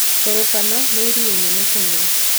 Turkana nĩ iria inene Kenya